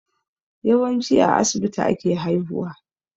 Yawanci a asibiti ake haihuwa